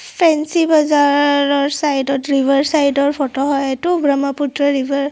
Fancy বজাৰৰ side ত river side ৰ ফটো হয় এইটো ব্ৰহ্মপুত্ৰ ৰিভাৰ ।